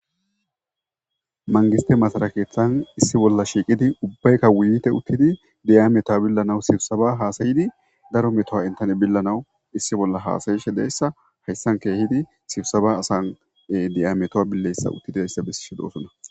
Mangiste masalakeeththan issi bolla shiiqidi ubbaykka wiyte uttidi diyameto billanawu sibsaba haasayidi daro metoha intani billanawu issi bolla haasayishe deyssa hayssan keehidi sibusaba asane diyameto billeyssa uttidi deyssa bessishe doosonna.